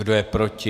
Kdo je proti?